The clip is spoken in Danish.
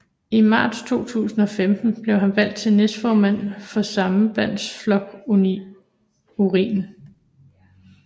I marts 2015 blev han valgt til næstformand for Sambandsflokkurin